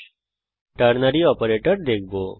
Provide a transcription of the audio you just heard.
এখন আমরা ternary operator দেখব